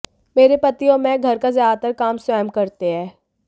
मेरे पति और मैं घर का ज्यादातर काम स्वयं करते हैं